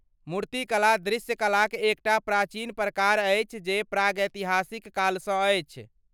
मूर्तिकला दृश्य कलाक एक टा प्राचीन प्रकार अछि जे प्रागैतिहसिक कालसँ अछि।